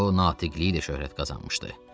O natiqliklə şöhrət qazanmışdı.